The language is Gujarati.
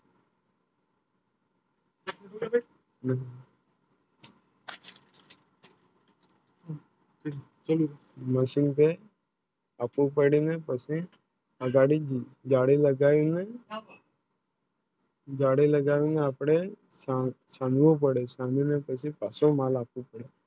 આ Machine માલ આપવું પડી ને પછી આ ગાડી ગાડી બધા હોય ને ગાડી લાગવેને આપણે સંગવું પડે કાંસુ માલ આપવું પડે